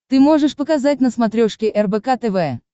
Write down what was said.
ты можешь показать на смотрешке рбк тв